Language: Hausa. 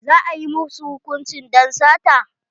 Za a yi ma su hukunci don sata?